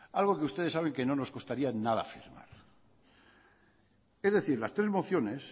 algo que ustedes saben que no nos costaría nada afirmar es decir las tres mociones